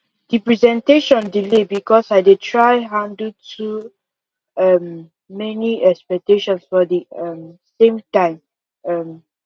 the presentation delay because i dey try handle too um many expectations for the um same time um